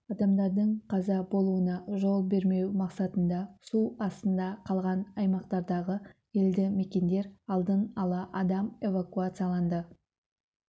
адамдардың қаза болуына жол бермеу мақсатында су астында қалған аймақтардағы елді мекендерден алдын ала адам эвакуацияланды